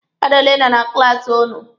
Mmadụ ole nọ na klaasi ụnụ?